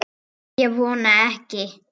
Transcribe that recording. Ég vona ekki